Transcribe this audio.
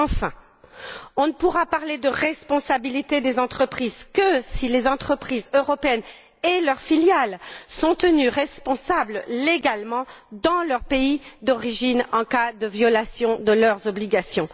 Enfin, on ne pourra parler de responsabilité des entreprises que si les entreprises européennes et leurs filiales sont tenues responsables légalement dans leur pays d'origine, en cas de violation de leurs obligations.